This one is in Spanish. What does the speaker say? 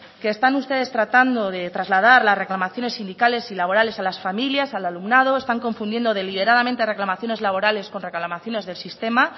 que están ustedes tratando de trasladar las reclamaciones sindicales y laborales a las familias al alumnado están confundiendo deliberadamente reclamaciones laborales con reclamaciones del sistema